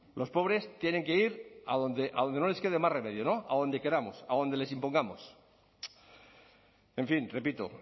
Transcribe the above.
los pobres tienen que ir a donde no les quede más remedio no a donde queramos a donde les impongamos en fin repito